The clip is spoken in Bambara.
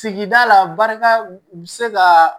Sigida la barika bɛ se ka